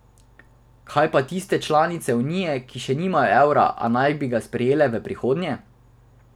Kaj pa tiste članice Unije, ki še nimajo evra, a naj bi ga sprejele v prihodnje?